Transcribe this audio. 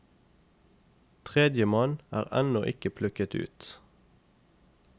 Tredjemann er ennå ikke plukket ut.